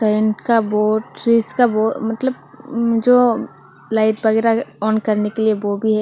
Current का board switch का board मतलब जो लाइट वगैरा ऑन करने के लिए वो भी है।